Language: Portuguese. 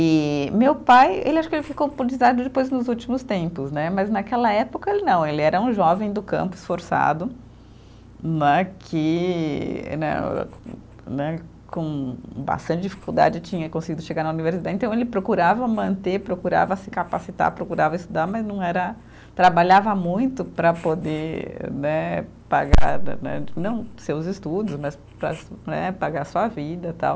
E meu pai, ele acho que ele ficou depois nos últimos tempos né, mas naquela época ele não, ele era um jovem do campo esforçado né, que né eh né com bastante dificuldade tinha conseguido chegar na, então ele procurava manter, procurava se capacitar, procurava estudar, mas não era, trabalhava muito para poder né pagar né, não seus estudos, mas para né, pagar sua vida, tal.